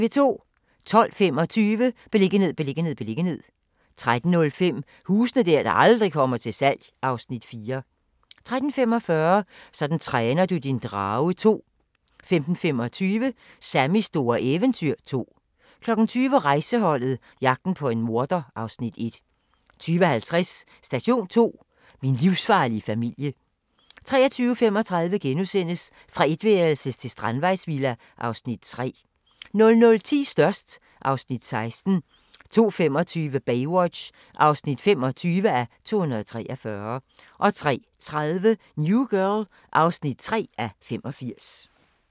12:25: Beliggenhed, beliggenhed, beliggenhed 13:05: Huse der aldrig kommer til salg (Afs. 4) 13:45: Sådan træner du din drage 2 15:25: Sammys store eventyr 2 20:00: Rejseholdet - jagten på en morder (Afs. 1) 20:50: Station 2: Min livsfarlige familie 23:35: Fra etværelses til strandvejsvilla (Afs. 3)* 00:10: Størst (Afs. 16) 02:45: Baywatch (25:243) 03:30: New Girl (3:85)